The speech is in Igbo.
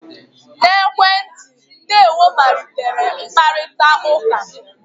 na ekwentị, 'ndewo' malitere mkparịta ụka